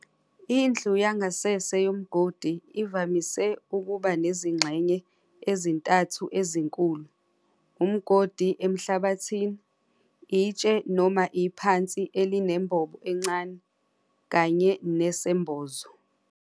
Indlu yangasese yomgodi ivamise ukuba nezingxenye ezintathu ezinkulu- umgodi emhlabathini, itshe noma iphansi elinembob encane, kanye nesembozo.